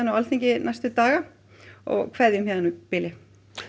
á Alþingi næstu daga og kveðjum héðan í bili